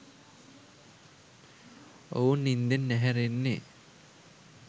ඔවුන් නින්දෙන් ඇහැරෙන්නෙ